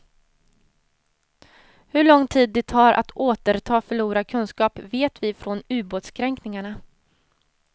Hur lång tid det tar att årterta förlorad kunskap vet vi från ubåtskränkningarna.